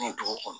Ni dugu kɔnɔ